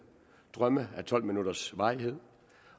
drømme af tolv minutters varighed